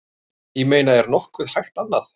Ég meina er nokkuð hægt annað?